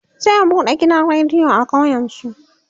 zai buɗe gidan rediyo a ƙauyen su